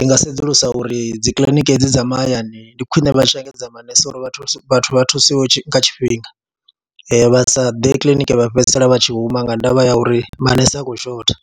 i nga sedzulusa uri dzi kiḽiniki hedzi dza mahayani ndi khwine vha tshi engedza manese uri vhathu vha thusiwe nga tshifhinga, vha sa ḓe kiḽiniki vha fhedzisela vha tshi huma nga ndavha ya uri manese a khou shotha.